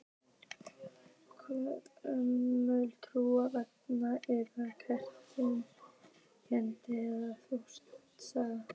Gömul trú, venja eða kredda er engin þjóðsaga.